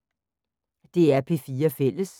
DR P4 Fælles